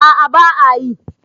a a ba a yi